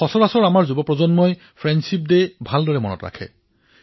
সাধাৰণতে আমাৰ তৰুণ প্ৰজন্মই বন্ধুত্বৰ দিনটো ভালদৰে মনত ৰাখে